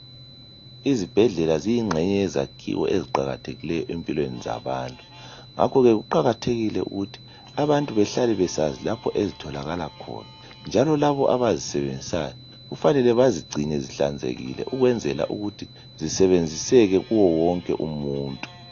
Izibhedlela ziyingxenye yezakhiwo eziqakathekileyo empilweni zabantu ngakho ke kuqakathekile ukuthi abantu behlale besazi lapho ezitholakala khona njalo labo abazisebenzisayo kufanele bazigcine zihlanzekile ukwenzela ukuthi zisebenziseke kuye wonke umuntu.